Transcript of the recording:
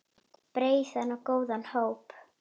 Breiðan og góðan hóp.